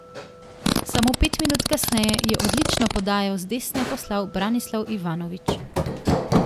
Samo pet minut kasneje je odlično podajo z desne poslal Branislav Ivanović.